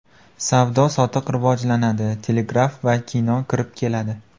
Savdo-sotiq rivojlanadi, telegraf va kino kirib keladi.